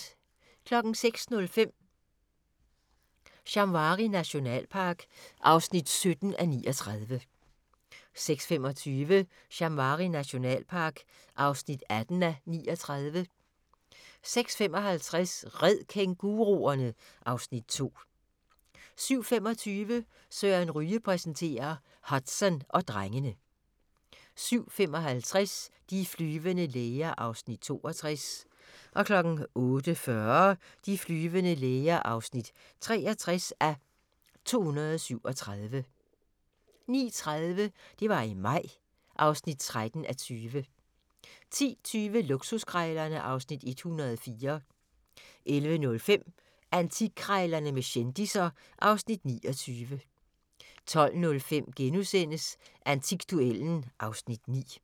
06:05: Shamwari nationalpark (17:39) 06:25: Shamwari nationalpark (18:39) 06:55: Red kænguruerne! (Afs. 2) 07:25: Søren Ryge præsenterer - Hudson og drengene 07:55: De flyvende læger (62:237) 08:40: De flyvende læger (63:237) 09:30: Det var i maj (13:20) 10:20: Luksuskrejlerne (Afs. 104) 11:05: Antikkrejlerne med kendisser (Afs. 29) 12:05: Antikduellen (Afs. 9)*